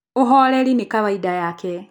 ũhorerĩ nĩ kawaida yake